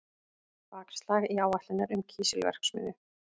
Bakslag í áætlanir um kísilverksmiðju